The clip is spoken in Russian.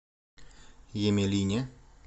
емелине